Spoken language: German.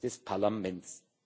des Parlaments,